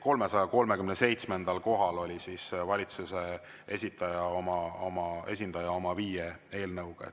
337. kohal oli valitsuse esindaja oma viie eelnõuga.